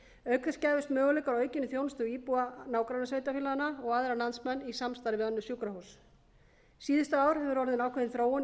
auk þess gæfust möguleikar á aukinni þjónustu við íbúa nágrannasveitarfélaganna og aðra landsmenn í samstarfi við önnur sjúkrahús síðustu ár hefur orðið ákveðin þróun í